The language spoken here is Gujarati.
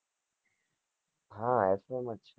હ fy માં જ છુ